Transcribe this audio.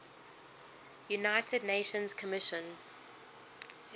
united nations commission